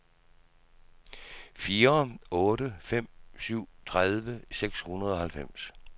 fire otte fem syv tredive seks hundrede og halvfems